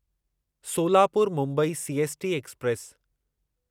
Solapur Mumbai CST express